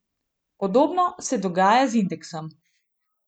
Podobno se dogaja z indeksom.